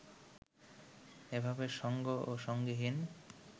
এভাবে সঙ্গ ও সঙ্গীহীন